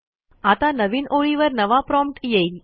आता नवीन ओळीवर नवा प्रॉम्प्ट येईल